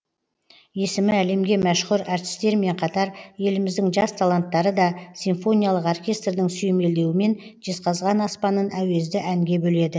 есімі әлемге мәшһүр әртістермен қатар еліміздің жас таланттары да симфониялық оркестрдің сүйемелдеуімен жезқазған аспанын әуезді әнге бөледі